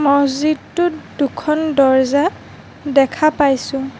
মহজিদটোত দুখন দৰ্জা দেখা পাইছোঁ।